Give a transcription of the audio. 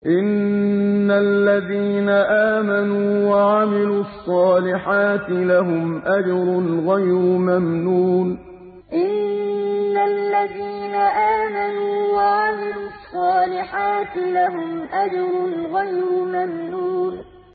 إِنَّ الَّذِينَ آمَنُوا وَعَمِلُوا الصَّالِحَاتِ لَهُمْ أَجْرٌ غَيْرُ مَمْنُونٍ إِنَّ الَّذِينَ آمَنُوا وَعَمِلُوا الصَّالِحَاتِ لَهُمْ أَجْرٌ غَيْرُ مَمْنُونٍ